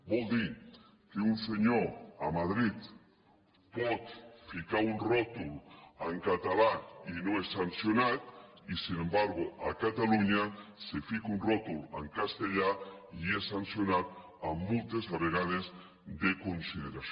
vol dir que un senyor a madrid pot ficar un rètol en català i no és sancionat i tanmateix a catalunya se fica un rètol en castellà i és sancionat amb multes a vegades de consideració